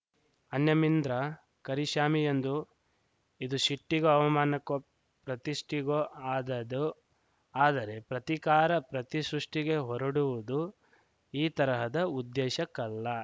ಅನ್ಯಮಿಂದ್ರ ಕರಿಷ್ಯಾಮಿ ಎಂದು ಇದು ಶಿಟ್ಟಿಗೋ ಅವಮಾನಕ್ಕೋ ಪ್ರತಿಷ್ಠೆಗೋ ಆದದ್ದು ಆದರೆ ಪ್ರತಿಕಾರ ಪ್ರತಿಸೃಷ್ಟಿಗೆ ಹೊರಡುವುದು ಈ ತರಹದ ಉದ್ದೇಶಕ್ಕಲ್ಲ